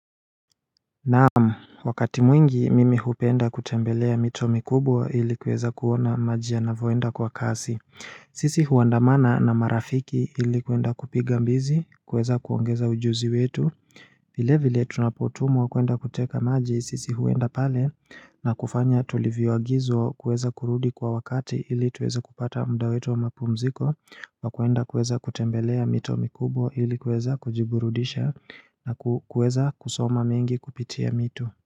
Naam, wakati mwingi mimi hupenda kutembelea mito mikubwa ili kuweza kuona maji yanavyoenda kwa kasi sisi huandamana na marafiki ili kuenda kupiga mbizi, kuweza kuongeza ujuzi wetu vile vile tunapotumwa kuenda kuteka maji, sisi huenda pale na kufanya tulivyoagizwa kuweza kurudi kwa wakati ili tuweze kupata muda wetu wa mapumziko wa kuenda kuweza kutembelea mito mikubwa ili kuweza kujiburudisha na kuweza kusoma mingi kupitia mito.